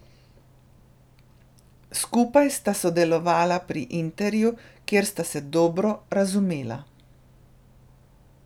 Skupaj sta sodelovala pri Interju, kjer sta se dobro razumela.